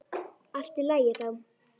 Allt í lagi þá.